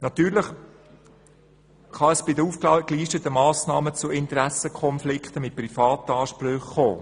Natürlich kann es bei den aufgelisteten Massnahmen zu Interessenkonflikten mit privaten Ansprüchen kommen.